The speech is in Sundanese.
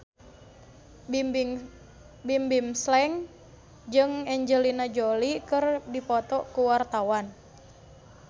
Bimbim Slank jeung Angelina Jolie keur dipoto ku wartawan